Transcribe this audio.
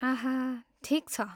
आह! ठिक छ।